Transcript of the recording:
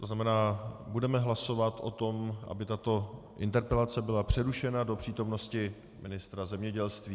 To znamená, budeme hlasovat o tom, aby tato interpelace byla přerušena do přítomnosti ministra zemědělství.